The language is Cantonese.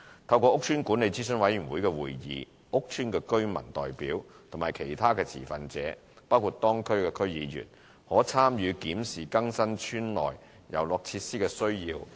透過屋邨管理諮詢委員會會議，屋邨居民代表和其他持份者，包括當區區議員，可參與檢視更新邨內遊樂設施的需要。